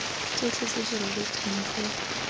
tsotlhe tse di rebotsweng ke